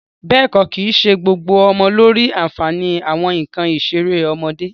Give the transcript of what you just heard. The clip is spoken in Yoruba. Bẹ́ẹ̀ kọ́, kìí ṣe gbogbo ọmọ ló rí àǹfààní àwọn nǹkan ìṣeré ọmọdé